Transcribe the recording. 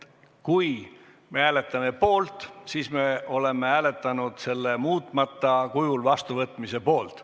Kui me hääletame poolt, siis me oleme hääletanud selle muutmata kujul vastuvõtmise poolt.